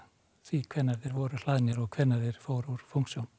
því hvenær þeir voru hlaðnir og hvenær þeir fóru úr fúnksjón